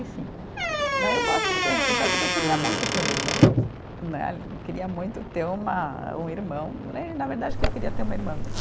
e cinco né. Eu gosto muito dessa história porque eu queria muito ter uma irmã né, queria muito ter uma um irmão né, na verdade eu queria ter uma irmã mesmo.